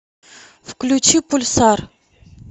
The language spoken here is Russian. включи пульсар